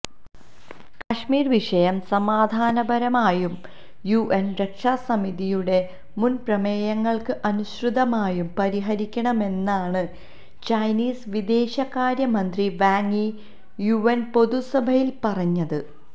കശ്മീര് വിഷയം സമാധാനപരമായും യുഎന് രക്ഷാസമിതിയുടെ മുന്പ്രമേയങ്ങള്ക്ക് അനുസൃതമായും പരിഹരിക്കണമെന്നാണ് ചൈനീസ് വിദേശകാര്യമന്ത്രി വാങ് യി യുഎന് പൊതുസഭയില് പറഞ്ഞത്